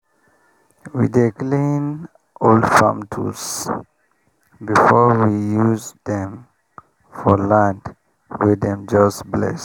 we dey clean old farm tools before we use dem for land wey dem just bless.